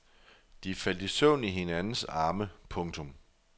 De faldt i søvn i hinandens arme. punktum